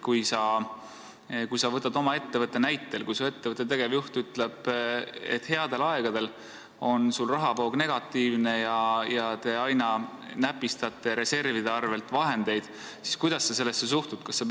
Kui sa võtad näiteks oma ettevõtte: kui su ettevõtte tegevjuht ütleb, et headel aegadel on su rahavoog negatiivne ja te aina näpistate reservidest vahendeid, siis kuidas sa sellesse suhtud?